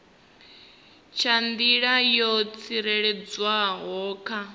nga nḓila yo tsireledzeaho kha